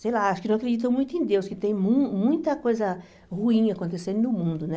Sei lá, acho que não acreditam muito em Deus, que tem mu muita coisa ruim acontecendo no mundo, né?